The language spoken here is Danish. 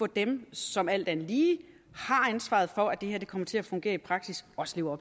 dem som alt andet lige har ansvaret for at det her kommer til at fungere i praksis også lever